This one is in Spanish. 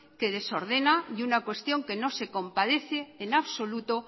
que desordena y una cuestión que no se compadece en lo absoluto